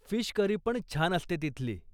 Fish करीपण छान असते तिथली.